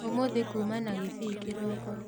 ũmũthĩ kuma na gĩbii kĩroko